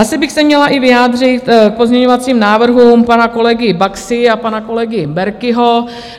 Asi bych se měla i vyjádřit k pozměňovacím návrhům pana kolegy Baxy a pana kolegy Berkiho.